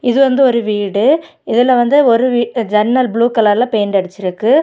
இது வந்து ஒரு வீடு இதுல வந்து ஒரு வீ ஜன்னல் ப்ளூ கலர்ல பெயிண்ட் அடிச்சுருக்கு.